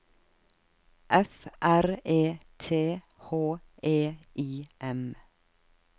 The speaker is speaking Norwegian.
F R E T H E I M